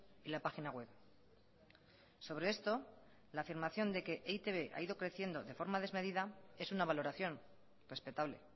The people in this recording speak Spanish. y la página web sobre esto la afirmación de que e i te be ha ido creciendo de forma desmedida es una valoración respetable